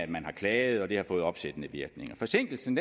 man har klaget og det har fået opsættende virkning forsinkelsen